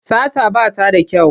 Sata ba ta da kyau.